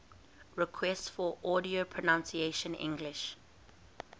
requests for audio pronunciation english